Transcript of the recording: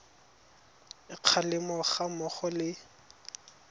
a kgalemo ga mmogo le